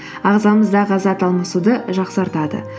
ағзамыздағы зат алмасуды жақсартады